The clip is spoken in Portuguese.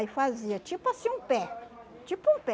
Aí fazia tipo assim um pé, tipo um pé.